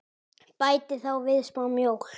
Bætið þá við smá mjólk.